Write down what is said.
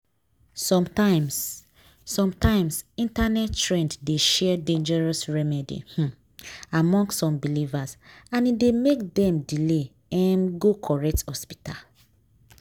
sometimes sometimes internet trend dey share dangerous remedy um among some believers and e dey make dem delay um go correct hospital.